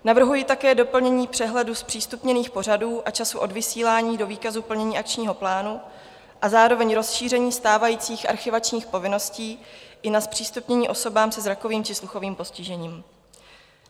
Navrhuji také doplnění přehledu zpřístupněných pořadů a času odvysílání do výkazu plnění akčního plánu a zároveň rozšíření stávajících archivačních povinností i na zpřístupnění osobám se zrakovým či sluchovým postižením.